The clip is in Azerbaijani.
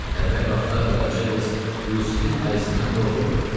Əvvəl vaxtlar qaraçı qız Yusifin ayısından qorxurdu.